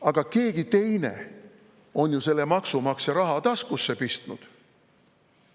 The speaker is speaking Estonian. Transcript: Aga keegi teine on ju selle maksumaksja raha taskusse pistnud.